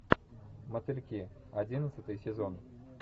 мотыльки одиннадцатый сезон